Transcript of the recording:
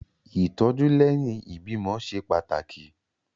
Ìtọ́jú lẹ́yìn ìbímọ ṣe pàtàkì.